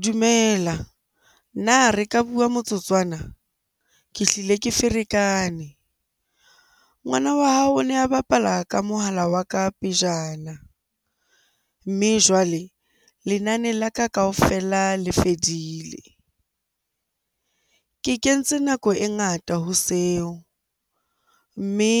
Dumela. Na re ka bua motsotswana?ke hlile ke ferekane. Ngwana wa hao o ne a bapala ka mohala wa ka pejana, mme jwale lenane la ka kaofela le fedile. Ke kentse nako e ngata ho seo, mme